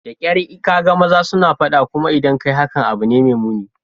Da kyar ka ga maza suna fada, kuma idan ka yi hakan, abu ne mai muni.